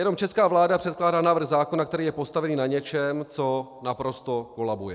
Jenom česká vláda předkládá návrh zákona, který je postavený na něčem, co naprosto kolabuje.